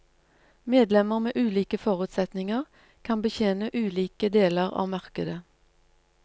Medlemmer med ulike forutsetninger kan betjene ulike deler av markedet.